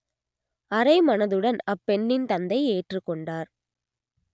அரைமனதுடன் அப்பெண்ணின் தந்தை ஏற்றுக் கொண்டார்